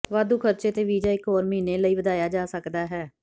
ਵਾਧੂ ਖਰਚੇ ਤੇ ਵੀਜ਼ਾ ਇੱਕ ਹੋਰ ਮਹੀਨੇ ਲਈ ਵਧਾਇਆ ਜਾ ਸਕਦਾ ਹੈ